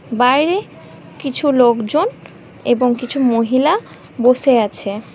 বাইরে কিছু লোকজন এবং কিছু মহিলা বসে আছে।